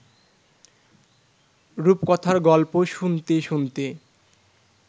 রূপকথার গল্প শুনতে শুনতে